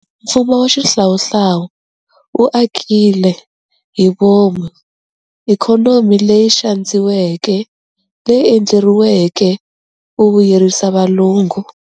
Mfumo wa xihlawuhlawu wu akile hi vomu ikhonomi leyi xandziweke leyi endleriweke ku vuyerisa valungu.